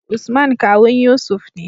Usman kawun yusuf ne